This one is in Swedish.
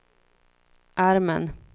armen